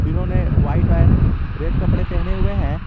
इन्होंने white and red कपड़े पहने हुए हैं।